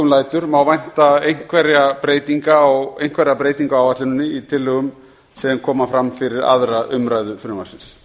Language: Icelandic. lætur má vænta einhverra breytinga á áætluninni í tillögum sem koma fram fyrir aðra umræðu frumvarpsins